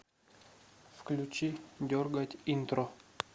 включи дергать интро